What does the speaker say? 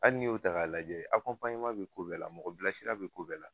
Hali ni y'o ta k'a lajɛ bɛ ko bɛɛ la, mɔgɔ bilasira bɛ ko bɛɛ la